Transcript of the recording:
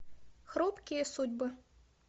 хрупкие судьбы